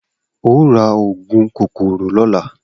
O óò ra ògùn kòkòrò lóla!